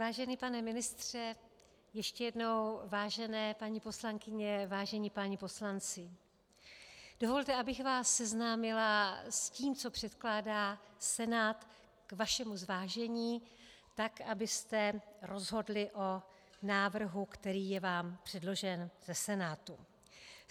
Vážený pane ministře, ještě jednou vážené paní poslankyně, vážení páni poslanci, dovolte, abych vás seznámila s tím, co předkládá Senát k vašemu zvážení tak, abyste rozhodli o návrhu, který je vám předložen ze Senátu.